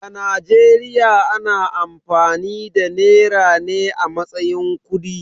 A Najeriya ana amfani da nera ne a matsayin kudi.